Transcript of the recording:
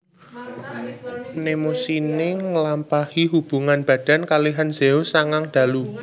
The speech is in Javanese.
Mnemosine nglampahi hubungan badan kalihan Zeus sangang dalu